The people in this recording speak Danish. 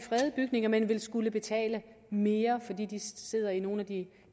fredede bygninger men vil skulle betale mere fordi de sidder i nogle af de